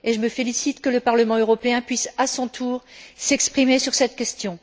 Je me félicite que le Parlement européen puisse, à son tour, s'exprimer sur cette question.